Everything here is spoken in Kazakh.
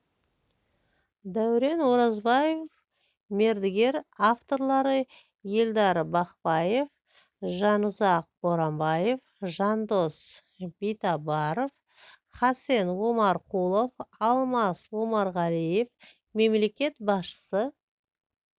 дәурен оразбаев мердігер авторлары елдар бақпаев жанұзақ боранбаев жандос битабаров хасен омарқұлов алмас омарғалиев мемлекет басшысы